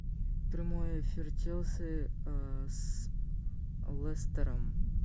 прямой эфир челси с лестером